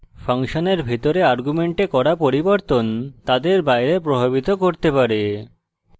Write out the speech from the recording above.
ফাংশনের ভিতরে arguments করা পরিবর্তন তাদের বাইরে প্রভাবিত করতে পারে